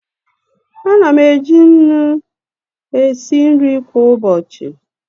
Ana m eji nnu esi nri kwa ụbọchị.